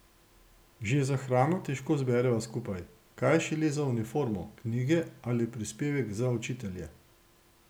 Že za hrano težko zbereva skupaj, kaj šele za uniformo, knjige ali prispevek za učitelje.